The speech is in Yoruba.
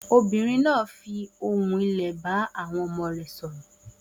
Obìnrin náà fi ohùn wá sílẹ̀ bá àwọn ọmọ rẹ̀ sọ̀rọ̀.